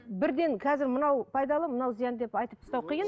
бірден қазір мынау пайдалы мынау зиян деп айтып тастау қиын